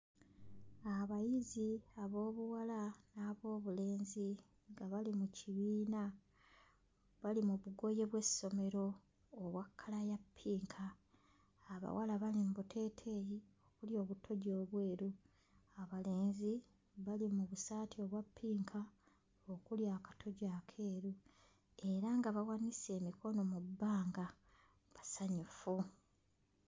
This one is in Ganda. Abayizi ab'obuwala n'ab'obulenzi nga bali mu kibiina, bali mu bugoye bw'essomero obwa kkala ya ppinka, abawala bali mu buteeteeyi okuli obutogi obweru, abalenzi bali mu busaati obwa ppinka okuli akatogi akeeru era nga bawanise emikono mu bbanga basanyufu.